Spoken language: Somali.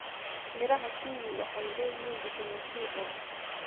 Midhaha kiwi waxay leeyihiin fitamiin C badan.